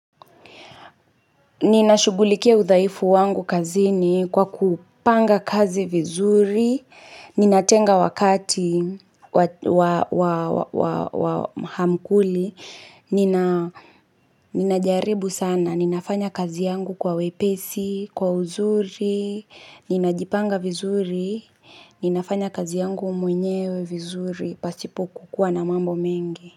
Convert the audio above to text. Ninashughulikia udhaifu wangu kazini kwa kupanga kazi vizuri, ninatenga wakati wa maankuli, ninajaribu sana, ninafanya kazi yangu kwa wepesi, kwa uzuri, ninajipanga vizuri, ninafanya kazi yangu mwenyewe vizuri, pasipo kuwa na mambo mengi.